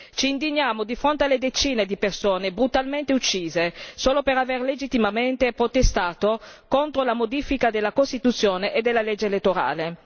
Ci indigniamo di fronte alle decine di persone brutalmente uccise solo per aver legittimamente protestato contro la modifica della Costituzione e della legge elettorale.